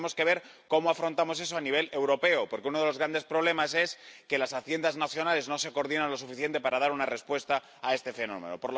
Entonces, tenemos que ver cómo afrontamos eso a nivel europeo, porque uno de los grandes problemas es que los Ministerios de Hacienda nacionales no se coordinan lo suficiente para dar una respuesta a este fenómeno.